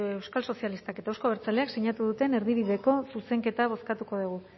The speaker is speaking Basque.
euskal sozialistak eta euzko abertzaleak sinatu duten erdibideko zuzenketa bozkatuko dugu